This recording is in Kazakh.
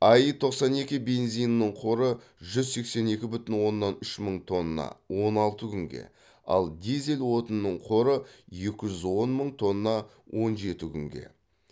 аи тоқсан екі бензинінің қоры жүз сексен екі бүтін оннан үш мың тонна он алты күнге ал дизель отынының қоры екі жүз он мың тонна он жеті күнге